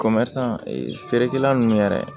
feerekɛla nunnu yɛrɛ